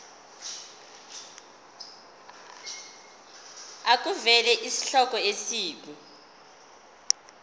makuvele isihloko isib